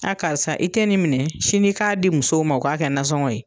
Aa karisa i tɛ nin minɛ sini ka di musow ma , u ka kɛ nansɔngɔ ye.